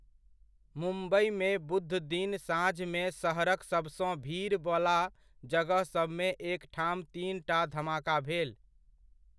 मुम्बइमे बुध दिन साँझमे शहरक सभसँ भीड़वला जगहसभमे एक ठाम तीनटा धमाका भेल।